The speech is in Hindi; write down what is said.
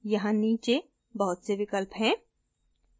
यहाँ नीचे बहुत से विकल्प हैं